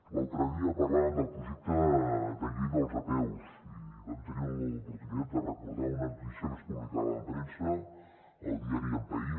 l’altre dia parlàvem del projecte de llei dels apeus i vam tenir l’oportunitat de recordar una notícia que es publicava en premsa al diari el país